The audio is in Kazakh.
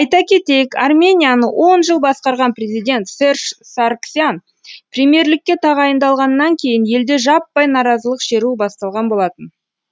айта кетейік арменияны он жыл басқарған президент серж саргсян премьерлікке тағайындалғаннан кейін елде жаппай наразылық шеруі басталған болатын